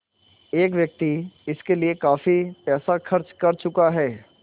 एक व्यक्ति इसके लिए काफ़ी पैसा खर्च कर चुका है